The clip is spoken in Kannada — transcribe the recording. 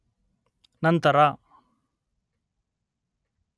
, ನಂತರ